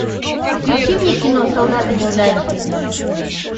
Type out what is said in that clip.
включи мне кино солдаты неудачи